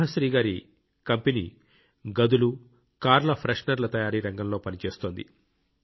సుభాశ్రీ గారి కంపెనీ గదులు కార్ల ఫ్రెష్ నర్ల తయారీ రంగంలో పనిచేస్తోంది